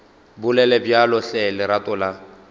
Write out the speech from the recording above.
bolele bjalo hle lerato la